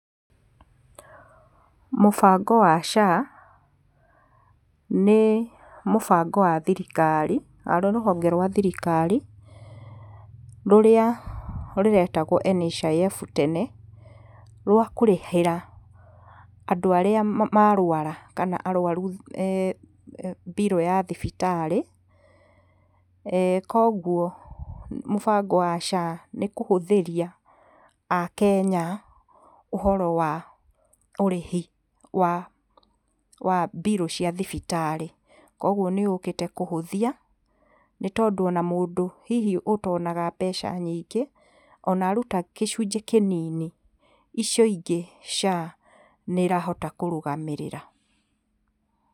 Mũbango wa SHA nĩ mũbango wa thirikari, harĩ rũhonge rwa thirikari rũrĩa rũretagwo NHIF tene, rwa kũrĩhĩra andũ arĩa ma, marwara kana arwaru mbirũ ya thibitarĩ. Koguo mũbango wa SHA nĩ kũhũthĩria akenya ũhoro wa ũrĩhi wa, wa mbirũ cia thibitarĩ. Koguo nĩ yũkĩte kũhũthia nĩtondũ ona mũndũ hihi ũtonaga mbeca nyingĩ, ona aruta kĩcunjĩ kĩnini icio ingĩ SHA nĩ ĩrahota kũrũgamĩrĩra.